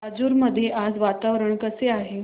राजूर मध्ये आज वातावरण कसे आहे